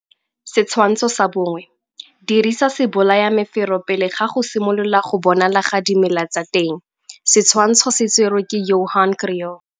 Setshwantsho sa 1 - Dirisa sebolayamefero pele ga go simolola go bonala ga dimela tsa teng. Setshwantsho se tserwe ke Johan Kriel.